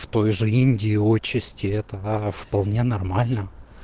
в той же индии участи этого а вполне нормально